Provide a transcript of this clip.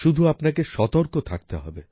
শুধু আপনাকে সতর্ক থাকতে হবে